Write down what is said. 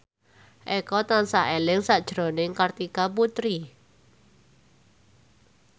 Eko tansah eling sakjroning Kartika Putri